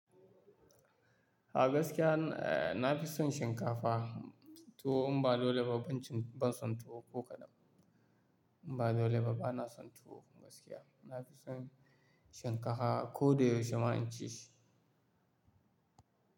A gaskiya na fi son shinkafa, tuwo in ba dole ba, ban cin, ban son tuwo ko kaɗan. In ba dole ba bana son tuwo gaskiya. Na fi son shinkafa ko da yaushe ma in ci shi.